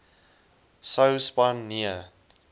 sou span nee